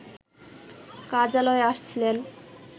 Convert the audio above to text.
কার্যালয়ে আসছিলেন